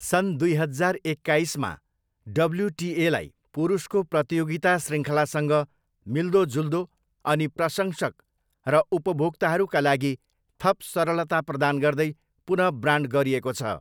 सन् दुई हजार एक्काइसमा, डब्ल्युटिएलाई पुरुषको प्रतियोगिता शृङ्खलासँग मिल्दोजुल्दो अनि प्रशंसक र उपभोक्ताहरूका लागि थप सरलता प्रदान गर्दै पुन ब्रान्ड गरिएको छ।